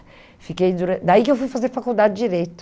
fiquei duran Daí que eu fui fazer faculdade de Direito.